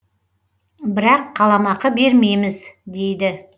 бірақ қаламақы бермейміз дейді